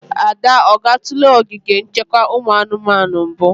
Ada, ọ gatụla ogige nchekwa ụmụ anụmanụ mbu?